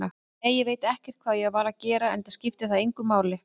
Nei, ég veit ekkert hvað ég var að gera, enda skiptir það engu máli.